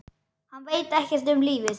Hann veit ekkert um lífið.